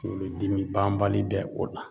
Kunkolodimi banbali bɛ o la